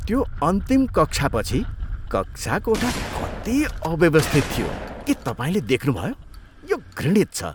त्यो अन्तिम कक्षापछि कक्षाकोठा कति अव्यवस्थित थियो के तपाईँले देख्नुभयो? यो घृणित छ।